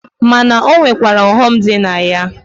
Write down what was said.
Ma na o nwekwara ọghọ m dị na ya.